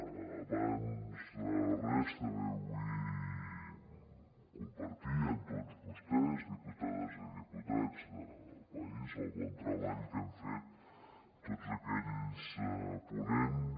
abans de res també vull compartir amb tots vostès diputades i diputats del país el bon treball que hem fet tots aquells ponents